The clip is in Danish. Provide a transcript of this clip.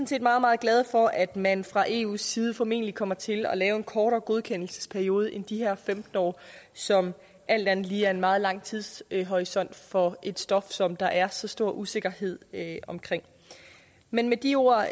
set meget meget glade for at man fra eus side formentlig kommer til at lave en kortere godkendelsesperiode end de her femten år som alt andet lige er en meget lang tidshorisont for et stof som der er så stor usikkerhed om men med de ord